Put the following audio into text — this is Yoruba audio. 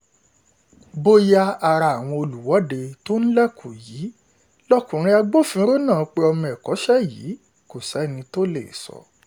bóyá ara àwọn olùwọ́de tó ń lẹ́kọ yìí lọkùnrin agbófinró náà pé ọmọ ẹ̀kọ́ṣẹ́ yìí kò sẹ́ni tó lè sọ